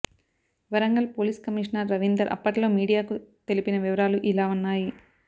Warangal police commissioner Ravinder అప్పట్లో మీడియాకు తెలిపిన వివరాలు ఇలా ఉన్నాయి